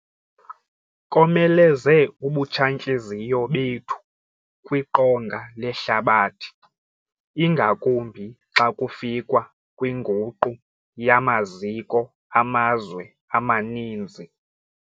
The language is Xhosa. Komeleze ubutshantliziyo bethu kwiqonga lehlabathi, ingakumbi xa kufikwa kwinguqu yamaziko amazwe amaninzi.